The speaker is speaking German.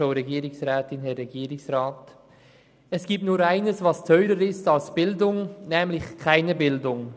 «Es gibt nur ein[e]s, was [auf Dauer] teurer ist als Bildung, [nämlich] keine Bildung.»